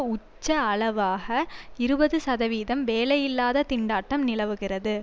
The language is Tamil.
உச்ச அளவாக இருபது சதவீதம் வேலையில்லாதத் திண்டாட்டம் நிலவுகிறது